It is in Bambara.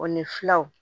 O ni filaw